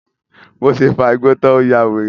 Bí ó ṣe fa igbó tan, ó yawèrè.